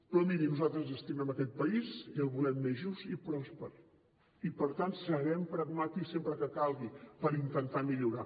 però miri nosaltres ens estimem aquest país i el volem més just i pròsper i per tant serem pragmàtics sempre que calgui per intentar millorar